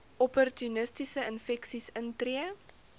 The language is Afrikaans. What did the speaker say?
opportunistiese infeksies intree